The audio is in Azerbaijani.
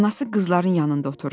Anası qızların yanında oturdu.